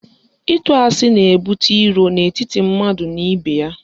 Ịtụ asị na-ebute iro n'etiti mmadụ na ibe ya.